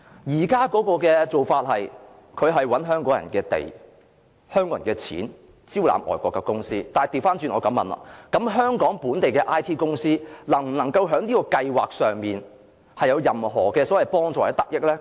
現在創科局的做法是，使用香港人的土地，香港人的金錢，招攬外國的公司，我反過來問，香港本地的 IT 公司能否從這計劃獲得任何幫助或得益呢？